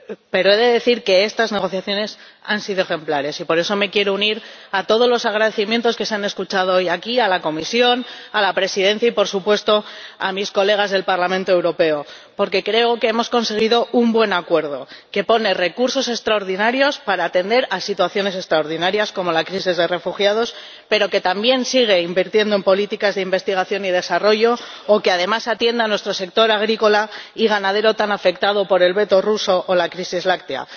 Pero he de decir que estas negociaciones han sido ejemplares y, por eso, me quiero unir a todos los agradecimientos que se han escuchado hoy aquí a la Comisión, a la Presidencia y, por supuesto, al resto de diputados al Parlamento Europeo, porque creo que hemos conseguido un buen acuerdo que pone recursos extraordinarios para atender a situaciones extraordinarias ―como la crisis de refugiados―, pero que también sigue invirtiendo en políticas de investigación y desarrollo y que, además, atiende a nuestro sector agrícola y ganadero, tan afectado por el veto ruso o la crisis láctea.